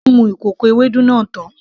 Ó mu kòkò Ewédú náà tán